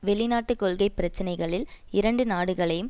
வெளிநாட்டு கொள்கை பிரச்சனைகளில் இரண்டு நாடுகளையும்